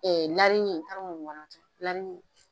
Ɛɛ